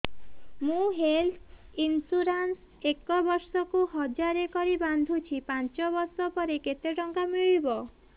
ମୁ health insurance ଏକ ବର୍ଷକୁ ହଜାର କରି ବାନ୍ଧୁଛି ପାଞ୍ଚ ବର୍ଷ ପରେ କେତେ ଟଙ୍କା ମିଳିବ